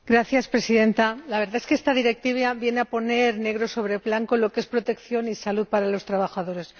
Señora Presidenta, la verdad es que esta Directiva viene a poner negro sobre blanco lo que es protección y salud para los trabajadores.